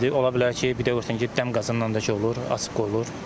İndi ola bilər ki, birdən görürsən ki, dəm qazından da ki olur, açıq qoyulur.